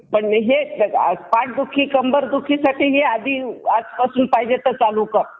Japan अमेरिकेच्या करारावर सह्या करण्यात आले या नंतर काही कालावधीतच जपानची अर्थव्यवस्था पुन्हा सावरली व एकोणीशे